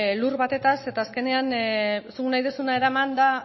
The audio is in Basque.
lur batetez eta azkenean zuk nahi duzuna eraman da